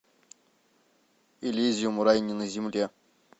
элизиум рай не на земле